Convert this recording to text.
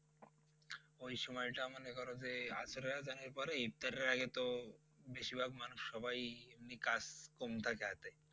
ওই সময় টা মনে করো যে আছরের আজানের পরে ইফতারের আগে তো বেশিরভাগ মানুষ সবাই এমনি কাজ কম থাকে হাতে,